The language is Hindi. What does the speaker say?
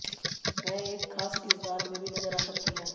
वह एक खास किरदार में भी नजर आ सकती हैं